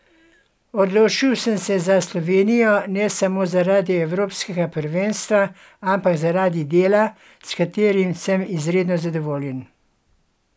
Odločil sem se za Slovenijo, ne samo zaradi evropskega prvenstva, ampak zaradi dela, s katerim sem izredno zadovoljen.